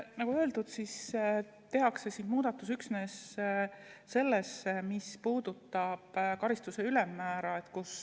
Nagu öeldud, tehakse muudatus üksnes selles, mis puudutab karistuse ülemmäära.